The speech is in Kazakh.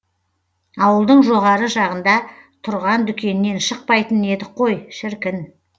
ауылдың жоғары жағында тұрған дүкеннен шықпайтын едік қой шіркін